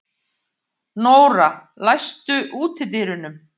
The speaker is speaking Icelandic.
Nóra, læstu útidyrunum.